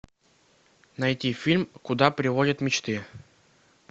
найти фильм куда приводят мечты